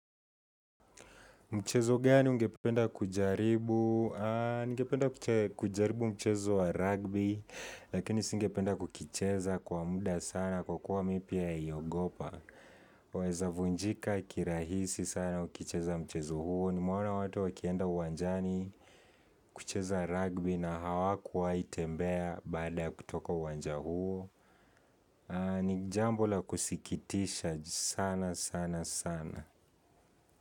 Mchezo gani ungependa kujaribu, ningependa kujaribu mchezo wa rugby, lakini si ngependa kukicheza, kwa muda sana, kwa kuwa mi pia iyogopa. Weza vunjika kirahisi sana, ukicheza mchezo huo, ni meoana watu wakienda wanjani kucheza rugby na hawakuwai tembea baada kutoka uwanja huo. Ni jambo la kusikitisha sana sana sana.